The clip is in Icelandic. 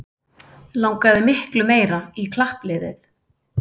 Langaði miklu meira í klappliðið